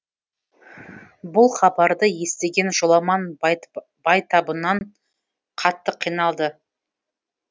бұл хабарды естіген жоламан байтабыннан қатты қиналды